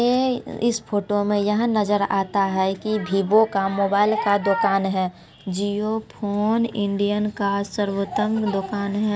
एह इस फोटो में यहां नजर आता है की वीवो का मोबाइल का दुकान है जिओ फ़ोन इंडियन का सर्वोत्तम दुकान है।